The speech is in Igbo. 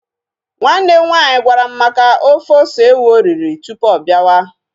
Nwanne m nwaanyị gwara m maka ofe ose ewu oriri tụpụ ọ biawa